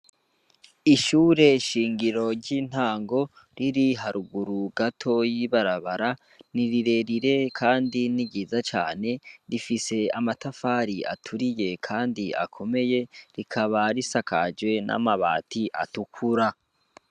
Ishure shingiro ry'intango riri haruguru gatoya y'ibarabara nirirerire kandi niryiza cane rifise amatafari aturiye kandi akomeye kandi rikaba risakajwe namabati atukura